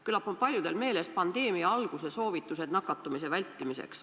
Küllap on paljudel meeles pandeemia alguse soovitused nakatumise vältimiseks.